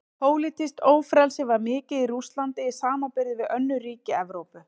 Pólitískt ófrelsi var mikið í Rússlandi í samanburði við önnur ríki Evrópu.